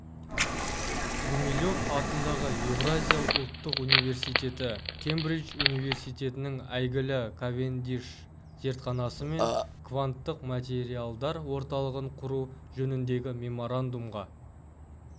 гумилев атындағы еуразия ұлттық университеті кембридж университетінің әйгілі кавендиш зертханасымен кванттық материалдар орталығын құру жөніндегі меморандумға